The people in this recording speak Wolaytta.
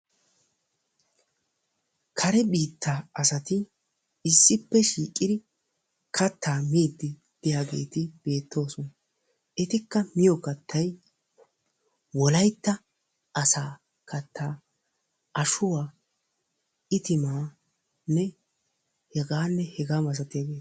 Kare biittaa asati issippe shiiqidi kattaa miiddi diyageeti beettoosona. Etikka miyo kattay wolaytta asaa kattaa ashuwa, itimaanne h.h.m